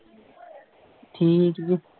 ਠੀਕ ਹੀ ਐ।